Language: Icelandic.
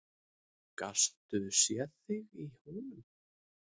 Gastu séð þig í honum?